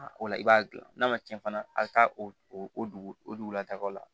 O la i b'a gilan n'a ma cɛn fana a bi taa o dugu o dugulatagaw la